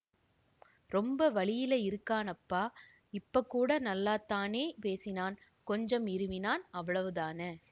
ரொம்ப வலியில இருக்கிறானாப்பா இப்ப கூட நல்லாத்தானே பேசினான் கொஞ்சம் இருமினான் அவ்வளவுதான